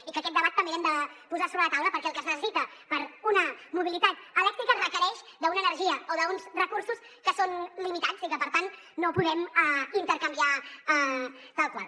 i que aquest debat també l’hem de posar sobre la taula perquè el que es necessita per a una mobilitat elèctrica requereix una energia o uns recursos que són limitats i que per tant no ho podem intercanviar tal qual